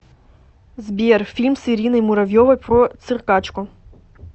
сбер фильм с ириной муравьевой про циркачку